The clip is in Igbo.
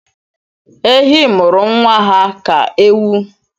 Ehi mụrụ nwa ha ka ewu